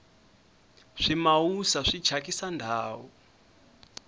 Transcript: swimawusa swi thyakisa ndhawu